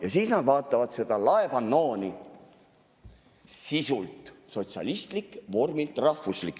Ja siis nad vaatavad seda laepannood: no nii, sisult sotsialistlik, vormilt rahvuslik.